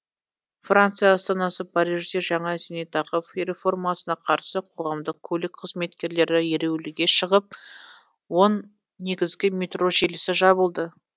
франция астанасы парижде жаңа зейнетақы реформасына қарсы қоғамдық көлік қызметкерлері ереуілге шығып он негізгі метро желісі жабылды